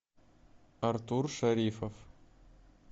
артур шарифов